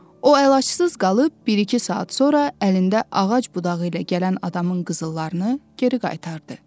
O əlacısız qalıb, bir-iki saat sonra əlində ağac budağı ilə gələn adamın qızıllarını geri qaytardı.